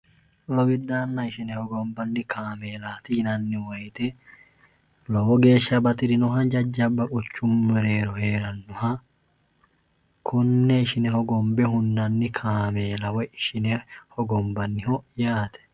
lowidaanna ishine hogombanni kaameelati yinanni woyite lowo geeshsha bati'rinoha jajjabba qochu mireero hee'rannoha kunne shine hogombe hunnanni kaameela woy ishine hogombanniho yaate